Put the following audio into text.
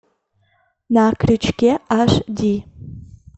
на крючке аш ди